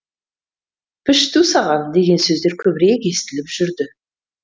пішту саған деген сөздер көбірек естіліп жүрді